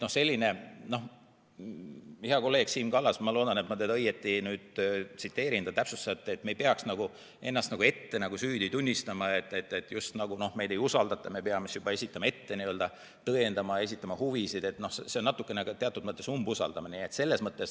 Hea kolleeg Siim Kallas – ma loodan, et ma teda õieti tsiteerin – täpsustas, et me ei peaks ennast ette süüdi tunnistama, just nagu meid ei usaldata ja me peame juba ette tõendama oma huvisid – see on teatud mõttes natukene umbusaldamine.